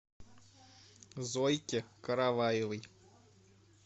зойке караваевой